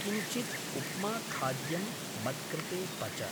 किञ्चित् उप्माखाद्यं मत्कृते पच।